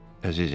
Əzizim.